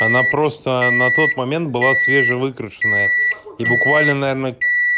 она просто на тот момент была свежее выигрышная и буквально наверное